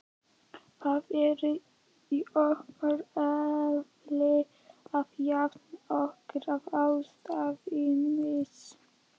Það er í okkar eðli að jafna okkur á ástvinamissi.